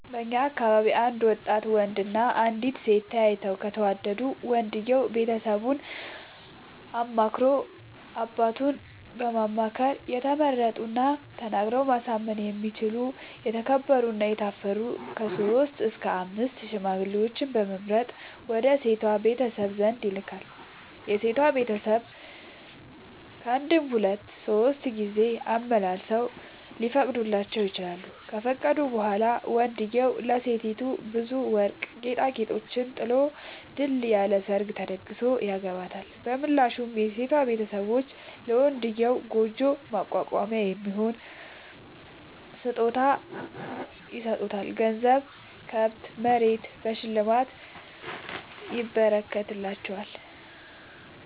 በእኛ አካባቢ አንድ ወጣት ወንድ እና አንዲት ሴት ተያይተው ከተወዳዱ ወንድየው ቤተሰቡን አማክሮ አባቱን በማማከር የተመረጡና ተናግረው ማሳመን የሚችሉ የተከበሩ እና የታፈሩ ከሶስት እስከ አምስት ሽማግሌዎችን በመምረጥ ወደ ሴቷ ቤተሰብ ዘንድ ይልካል። የሴቷ ቤተሰብ ካንድም ሁለት ሶስት ጊዜ አመላልሰው ሊፈቅዱ ይችላሉ። ከፈቀዱ በኋላ ወንድዬው ለሴቲቱ ብዙ ወርቅ ጌጣጌጦችን ጥሎ ድል ያለ ሰርግ ተደግሶ ያገባታል። በምላሹ የሴቷ ቤተሰቦች ለመንድዬው ጉጆ ማቋቋሚያ የሚሆን ስጦታ ይሰጣሉ ገንዘብ፣ ከብት፣ መሬት በሽልማት ይረከትላቸዋል።